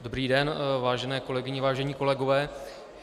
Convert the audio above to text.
Dobrý den, vážené kolegyně, vážení kolegové.